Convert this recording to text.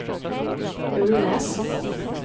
Ulnes